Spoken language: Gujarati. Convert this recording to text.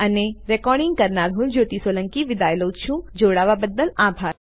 આઇઆઇટી બોમ્બે તરફથી ભાષાંતર કરનાર હું કૃપાલી પરમાર વિદાય લઉં છું